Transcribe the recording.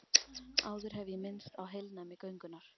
Áður hef ég minnst á heilnæmi göngunnar.